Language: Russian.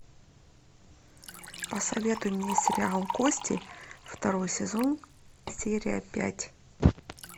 посоветуй мне сериал кости второй сезон серия пять